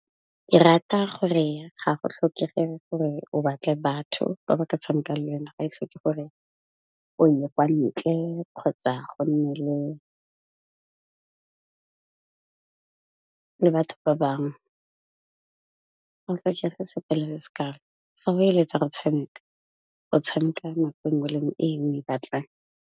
Ke rata gore ga go tlhokege gore o batle batho ba ba ka tshameka le yona, ga e tlhoke gore o ye kwa ntle kgotsa go nne le batho ba bangwe. Se sekalo fa o eletsa go tshameka go tshameka nako e ngwe le e ngwe e o e batlang.